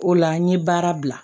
O la n ye baara bila